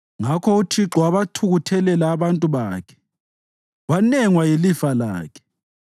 Ngakho uThixo wabathukuthelela abantu bakhe wanengwa yilifa lakhe.